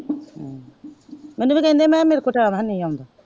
ਮੈਨੂੰ ਵੀ ਤੇ ਆਂਡੇ ਸੀ ਮੈਂ ਕਿਹਾ ਮੇਰਕੋਲ ਟੀਮ ਹੈ ਨਹੀਂ ਜਾਨ ਦਾ।